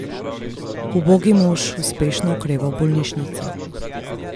Ubogi mož uspešno okreva v bolnišnici.